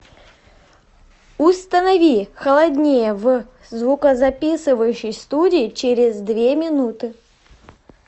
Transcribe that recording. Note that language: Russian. установи холоднее в звукозаписывающей студии через две минуты